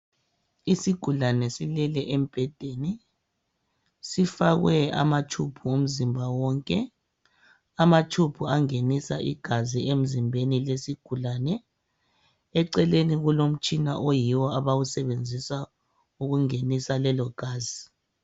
Isigulane silele embhedeni sifakwe amatshubhu umzimba wonke. Amatshubhu angenisa igazi emzimbeni wesigulane. Eceleni kulomtshina oyiwo abawusebenzisa ukungenisa lelo gazi.